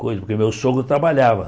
Coisa porque meu sogro trabalhava.